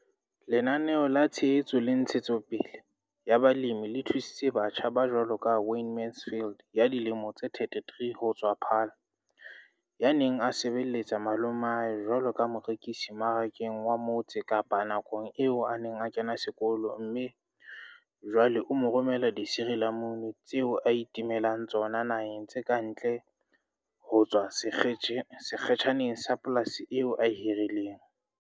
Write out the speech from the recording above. Lenaneo la Tshehetso le Ntshetsopele ya Balemi le thusitse batjha ba jwaloka Wayne Mansfield, 33, ho tswa Paarl, ya neng a se belletsa malomae jwaleka morekisi Marakeng wa Mo tse Kapa nakong eo a neng a kena sekolo mme jwale o romela disirilamunu tseo a itemelang tsona naheng tse ka ntle ho tswa sekge tjhaneng sa polasi eo a e hirileng.